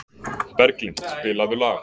Berglind, spilaðu lag.